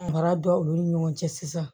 Mara don olu ni ɲɔgɔn cɛ sisan